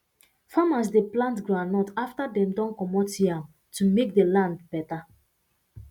farmers de plant goundnut after dem don commot yam to make the land better